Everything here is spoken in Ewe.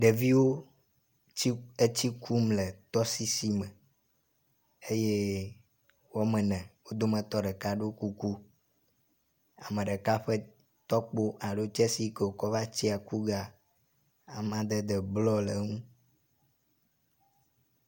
Ɖeviwo tsi etsi kum le tɔsisi me eye woamene wo dometɔ ɖeka ɖo kuku. Ame ɖeka ƒe tɔkpo alo tsɛsi yi ke wòkɔ va tsia ku ge amadede blɔ le eŋu.